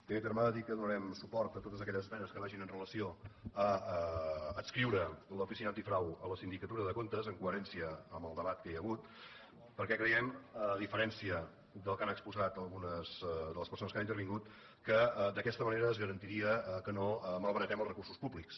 en primer terme cal dir que donarem suport a totes aquelles esmenes que vagin amb relació a adscriure l’oficina antifrau a la sindicatura de comptes en coherència amb el debat que hi ha hagut perquè creiem a diferència del que han exposat algunes de les persones que han intervingut que d’aquesta manera es garantiria que no malbaratem els recursos públics